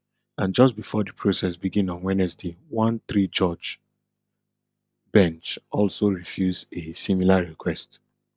and just before di process begin on wednesday one threejudge bench also refuse a similar request